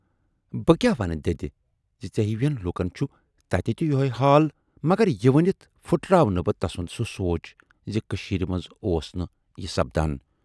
بہٕ کیاہ ونہٕ دٮ۪دِ زِ ژے ہِوٮ۪ن لوٗکن چھُ تتہِ تہِ یِہےَ حال، مگر یہِ ؤنِتھ پھُٹراوٕ نہٕ بہٕ تسُند سُہ سونچ زِ کٔشیٖرِ منز اوس نہٕ یہِ سپدان